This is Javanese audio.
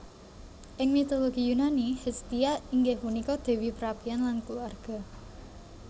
Ing mitologi Yunani Hestia inggih punika dewi perapian lan keluarga